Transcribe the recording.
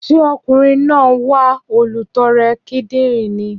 Ṣé ọkùnrin náà ń wá olùtọrẹ kidinrin ni?